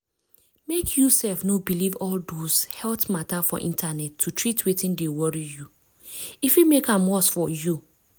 mek you sef no believe all those health matter for internet to treat wetin dey worry you. e fit mek am worse for you.